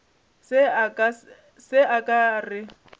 se a ka a re